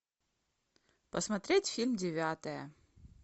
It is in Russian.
посмотреть фильм девятая